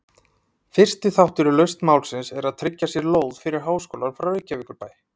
Fyrsti þáttur í lausn málsins er að tryggja sér lóð fyrir háskólann frá Reykjavíkurbæ.